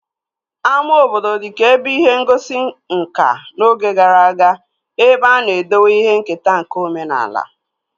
Ama obodo dịka ebe ihe ngosi nkà n'oge gara aga ebe a na-edowe ihe nketa nke omenaala